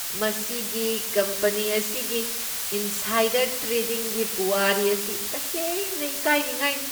ꯃꯁꯤꯒꯤ ꯀꯝꯄꯅꯤ ꯑꯁꯤꯒꯤ ꯏꯟꯁꯥꯏꯗꯔ ꯇ꯭ꯔꯦꯗꯤꯡꯒꯤ ꯄꯨꯋꯥꯔꯤ ꯑꯁꯤ ꯇꯁꯦꯡꯅ ꯏꯀꯥꯏꯅꯤꯡꯉꯥꯏꯅꯤ꯫